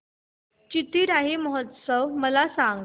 चिथिराई महोत्सव मला सांग